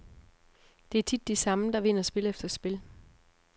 Det er tit de samme, der vinder spil efter spil.